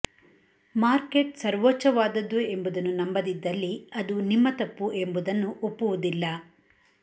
market ಸರ್ವೋಚ್ಚವಾದದ್ದು ಎಂಬುದನ್ನು ನಂಬದಿದ್ದಲ್ಲಿ ಅದು ನಿಮ್ಮ ತಪ್ಪು ಎಂಬುದನ್ನು ಒಪ್ಪುವುದಿಲ್ಲ